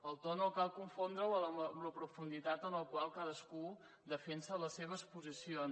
el to no cal confondre’l amb la profunditat en la qual cadascú defensa les seves posicions